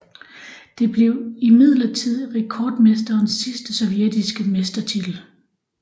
Det blev imidlertid rekordmestrenes sidste sovjetiske mestertitel